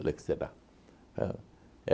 Falei que será? O